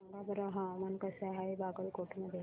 सांगा बरं हवामान कसे आहे बागलकोट मध्ये